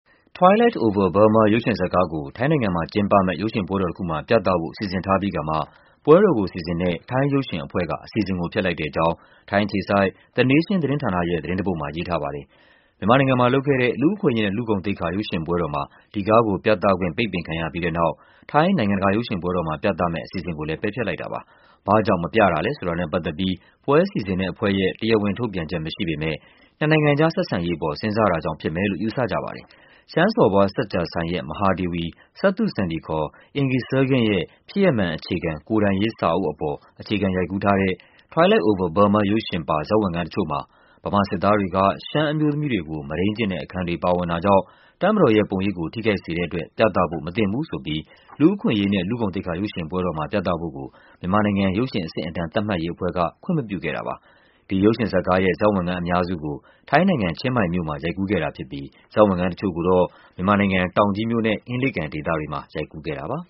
Twilight Over Burma ရုပ်ရှင်ဇာတ်ကားကို ထိုင်းနိုင်ငံမှာကျင်းပမယ့် ရုပ်ရှင်ပွဲတော်တခုမှာ ပြသဖို့ စီစဉ်ထားပြီးကာမှ ပွဲတော်ကို စီစဉ်တဲ့ ထိုင်းရုပ်ရှင်အဖွဲ့က အစီအစဉ်ကိုဖျက်လိုက်တဲ့အကြောင်း ထိုင်းအခြေစိုက် The Nation သတင်းဌာနရဲ့ သတင်းတပုဒ်မှာ ရေးထားပါတယ်။ မြန်မာနိုင်ငံမှာလုပ်ခဲ့တဲ့ လူ့အခွင့်အရေးနဲ့ လူ့ဂုဏ်သိက္ခာ ရုပ်ရှင်ပွဲတော်မှာ ဒီကားကိုပြသခွင့် ပိတ်ပင်ခံရပြီးတဲ့နောက် ထိုင်း နိုင်ငံတကာ ရုပ်ရှင်ပွဲတော်မှာပြသမယ့် အစီအစဉ်ကိုလည်း ပယ်ဖျက်လိုက်တာပါ။ ဘာ့ကြောင့် မပြတာလည်းဆိုတာနဲ့ပတ်သက်ပြီး ပွဲစီစဉ်တဲ့အဖွဲ့ရဲ့ တရားဝင်ထုတ်ပြန်ချက်မရှိပေမဲ့ နှစ်နိုင်ငံကြား ဆက်ဆံရေး အပေါ် စဉ်းစားတာကြောင့်ဖြစ်မယ်လို့ ယူဆကြပါတယ်။ ရှမ်းစော်ဘွား စဝ်ကြာဆိုင်ရဲ့ မဟာဒေဝီ စဝ်သုစန္ဒီ ခေါ် Inge Sargent ရဲ့ ဖြစ်ရပ်မှန်အခြေခံ ကိုယ်တိုင်ရေးစာအုပ်အပေါ် အခြေခံ ရိုက်ကူးထားတဲ့ Twilight Over Burma ရုပ်ရှင်ပါ ဇာတ်ဝင်ခန်းတချို့မှာ ဗမာစစ်သားတွေက ရှမ်းအမျိုးသမီးတွေကို မုဒိန်းကျင့်တဲ့ အခန်းတွေပါဝင်တာကြောင့် တပ်မတော်ရဲ့ပုံရိပ်ကို ထိခိုက်စေတဲ့အတွက် ပြသဖို့မသင့်ဘူးဆိုပြီး လူ့အခွင့်အရေးနဲ့ လူ့ဂုဏ်သိက္ခာ ရုပ်ရှင်ပွဲတော်မှာ ပြသဖို့ကို မြန်မာနိုင်ငံ ရုပ်ရှင်အဆင့်အတန်း သတ်မှတ်ရေးအဖွဲ့က ခွင့်မပြုခဲ့တာပါ။ ဒီရုပ်ရှင်ဇာတ်ကားရဲ့ ဇာတ်ဝင်ခန်းအများစုကို ထိုင်းနိုင်ငံ၊ ချင်းမိုင်မြို့မှာ ရိုက်ကူးခဲ့တာဖြစ်ပြီး ဇာတ်ဝင်ခန်းတချို့ကိုတော့ မြန်မာ နိုင်ငံ၊ တောင်ကြီးမြို့နဲ့ အင်းလေးကန်ဒေသတွေမှာ ရိုက်ကူးခဲ့တာပါ။